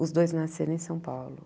Os dois nasceram em São Paulo.